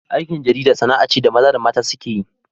Aikin jarida sana'a ce da maza da mata suke yi.